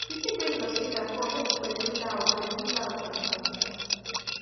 you fit bring your speaker come make di gbedu loud gbedu loud for di party